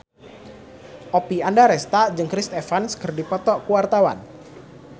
Oppie Andaresta jeung Chris Evans keur dipoto ku wartawan